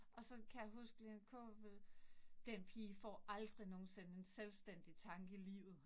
Og så kan jeg huske Lene Kaaberbøl, den pige får aldrig nogensinde en selvstændig tanke i livet